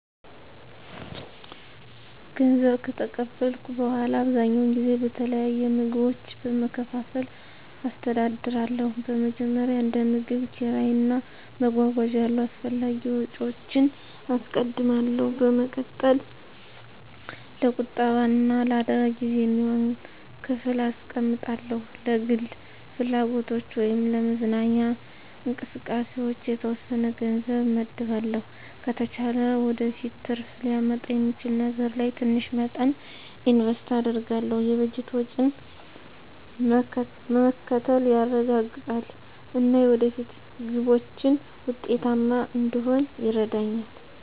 ገንዘብ ከተቀበልኩ በኋላ, አብዛኛውን ጊዜ በተለያዩ ምድቦች በመከፋፈል አስተዳድራለሁ. በመጀመሪያ፣ እንደ ምግብ፣ ኪራይ እና መጓጓዣ ያሉ አስፈላጊ ወጪዎችን አስቀድማለሁ። በመቀጠል፣ ለቁጠባ እና ለአደጋ ጊዜ የሚሆን ክፍል አስቀምጣለሁ። ለግል ፍላጎቶች ወይም ለመዝናኛ እንቅስቃሴዎች የተወሰነ ገንዘብ እመድባለሁ። ከተቻለ ወደፊት ትርፍ ሊያመጣ በሚችል ነገር ላይ ትንሽ መጠን ኢንቨስት አደርጋለሁ። የበጀት ወጪን መከተል ገንዘቤ እንዳይባክን አደርጋሁ። ይህ ዘዴ የፋይናንስ መረጋጋትን ያረጋግጣል እና የወደፊት ግቦችን ውጤታማ እንድሆን ይረዳኛል.